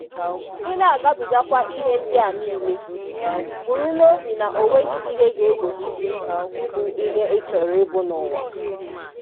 ị na-agabigakwa ihe ndị a nile, bụrụ n'obi na o nweghị ihe ga-egbochi gị ịbụ ihe ị chọrọ ịbụ n'ụwa.